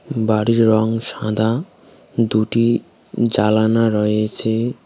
বাড়ির রং সাদা দুটি জালানা রয়েছে।